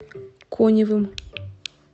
коневым